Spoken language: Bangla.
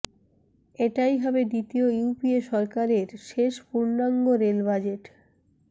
এটাই হবে দ্বিতীয় ইউপিএ সরকারের শেষ পূর্ণাঙ্গ রেল বাজেট